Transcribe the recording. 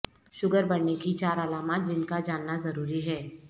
sugar بڑھنے کی چار علامات جن کا جاننا ضروری ہے